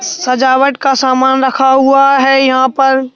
सजावट का सामान रखा हुआ है यहां पर--